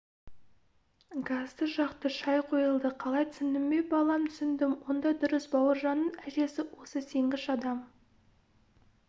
газды жақты шай қойылды қалай түсіндің бе балам түсіндім онда дұрыс бауыржанның әжесі осы сенгіш адам